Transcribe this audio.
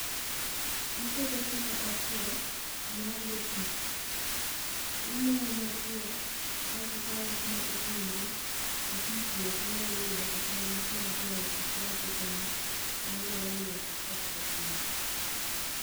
Ikete kuma otwo, kuma onge pi. Imoye motwo, aeto ikane kuma oting'ore ma pi pi oknyal yude kata ng'ich mar dier ot oknyal chopo ne manyalo miyo okethre piyo.